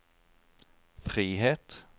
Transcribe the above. frihet